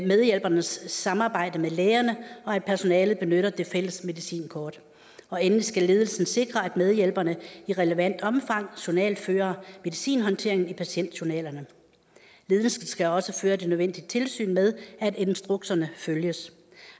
medhjælpernes samarbejde med lægerne og at personalet benytter det fælles medicinkort endelig skal ledelsen sikre at medhjælperne i relevant omfang journalfører medicinhåndteringen i patientjournalerne ledelsen skal også føre det nødvendige tilsyn med at instrukserne følges